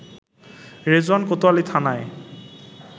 রেজওয়ান কোতোয়ালী থানায়